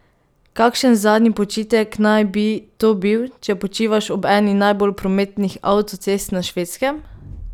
Kakšen zadnji počitek naj bi to bil, če počivaš ob eni najbolj prometnih avtocest na Švedskem?